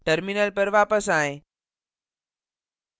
terminal पर वापस आएँ